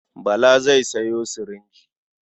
Bala zai sayo sirinji.